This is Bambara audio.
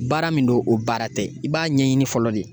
Baara min don o baara tɛ i b'a ɲɛɲini fɔlɔ de.